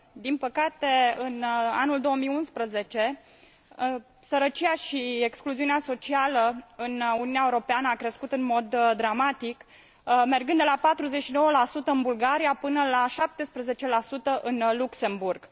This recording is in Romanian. Din păcate, în anul 2011, sărăcia și excluziunea socială în Uniunea Europeană a crescut în mod dramatic, mergând de la 49 în Bulgaria, până la 17 în Luxemburg.